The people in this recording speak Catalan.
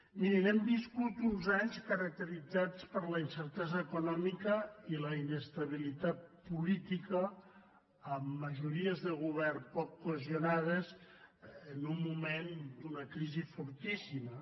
mirin hem viscut uns anys caracteritzats per la incer·tesa econòmica i la inestabilitat política amb majori·es de govern poc cohesionades en un moment d’una crisi fortíssima